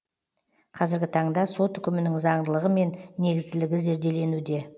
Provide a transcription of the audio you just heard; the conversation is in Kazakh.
қазіргі таңда сот үкімінің заңдылығы мен негізділігі зерделенуде